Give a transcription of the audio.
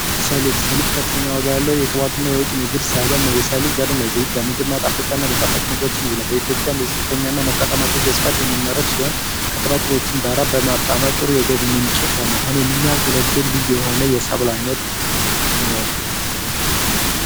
ሰሊጥ ሰሊጥ ከፍተኛ ዋጋ ያለው የቅባትና የወጪ ንግድ ሰብል ነው። የሰው ልጅ ለዘይት ፣ ለምግብ ማጣፈጫ እና ለጣፈጫ ምግቦችም ይውላል። በኢትዮጵያ ዝቅተኛ እና ሞቃታማ በስፋት የሚመረት ሲሆን፤ ከጣላጥሎችም ጋራ በማጣመር ጥሩ የገቢ ምንጭ በመሆን የሚያገለግል ልዩ የሆነ የሰብል ዓይነት ነው።